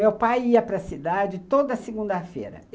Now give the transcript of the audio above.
Meu pai ia para cidade toda segunda-feira.